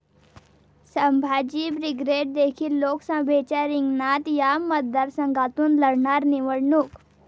Sambhaji Brigade देखील लोकसभेच्या रिंगणात, 'या' मतदारसंघातून लढणार निवडणूक